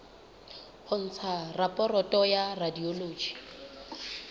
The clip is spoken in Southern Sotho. ho ntsha raporoto ya radiology